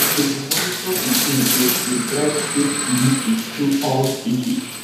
to dey monitor pikin growth dey guide safe delivery through all stages